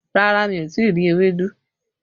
Rárá, mi ò tí ì rí ewédú